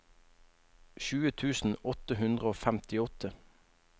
tjue tusen åtte hundre og femtiåtte